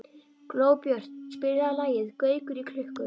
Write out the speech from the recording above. Glóbjört, spilaðu lagið „Gaukur í klukku“.